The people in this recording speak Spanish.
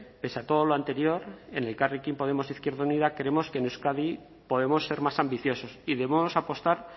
pese a todo lo anterior en elkarrekin podemos izquierda unida creemos que en euskadi podemos ser más ambiciosos y debemos apostar